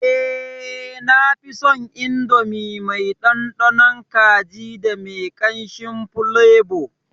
Eh, nafison Indomie mai dandanon kaji da me kanshin fulebo.